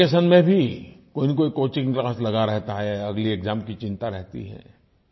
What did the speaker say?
vacation में भी कोई न कोई कोचिंग क्लास लगा रहता है अगली एक्साम की चिंता रहती है